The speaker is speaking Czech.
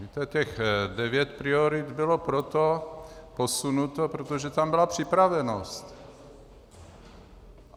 Víte, těch 9 priorit bylo proto posunuto, protože tam byla připravenost.